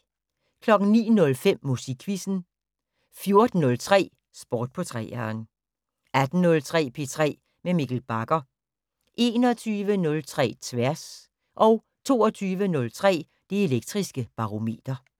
09:05: Musikquizzen 14:03: Sport på 3'eren 18:03: P3 med Mikkel Bagger 21:03: Tværs 22:03: Det Elektriske Barometer